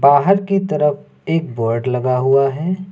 बाहर की तरफ एक बोर्ड लगा हुआ है।